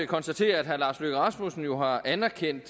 konstatere at herre lars løkke rasmussen jo har anerkendt